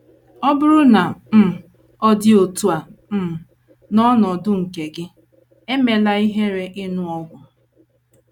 Ọ bụrụ na um ọ dị otú a um n’ọnọdụ nke gị, emela ihere ịṅụ ọgwụ.